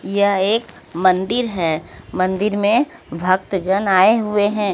यह एक मंदिर है मंदिर में भक्त जन आए हुए हैं।